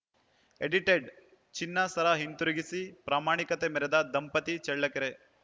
edited ಚಿನ್ನ ಸರ ಹಿಂದಿರುಗಿಸಿ ಪ್ರಾಮಾಣಿಕತೆ ಮೆರೆದ ದಂಪತಿ ಚಳ್ಳಕೆರೆ